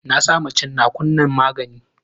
Na sama tsinnaku nan magani.